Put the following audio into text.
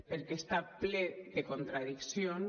perquè està ple de contradiccions